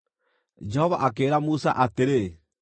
Jehova akĩĩra Musa atĩrĩ,